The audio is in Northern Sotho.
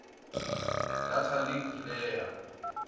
data link layer